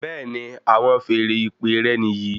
Bẹẹni, àwọn feèrè ìpè rẹ níyì